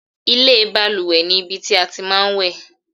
ilé ìbalùwẹ̀ ni ibi tí a tí máa ń wẹ̀